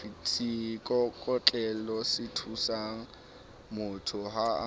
ke seikokotlelosethusangmotho ha a na